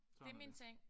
Det er min ting